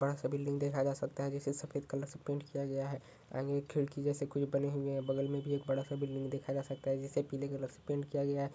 बड़ा सा बिल्डिंग देखा जा सकता है जिसे सफेद कलर से पेंट किया गया है खिड़की जैसा कुछ बना हुए है और बगल में भी एक बड़ा सा बिल्डिंग देखा जा सकता है जिसे पीले कलर से पेंट किया गया है।